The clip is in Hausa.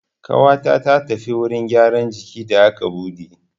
Ƙawata ta tafi wurin gyaran jiki da aka buɗe.